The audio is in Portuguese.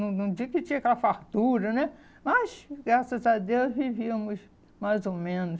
Não não digo que tinha aquela fartura né, mas, graças a Deus, vivíamos mais ou menos.